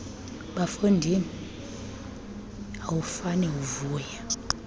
bafondini awufane uvuya